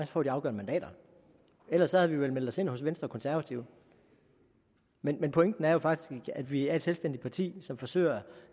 får de afgørende mandater ellers havde vi vel meldt os ind hos venstre og konservative men pointen er jo faktisk at vi er et selvstændigt parti som forsøger